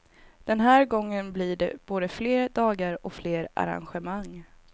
Den här gången blir det både fler dagar och fler arrangemang.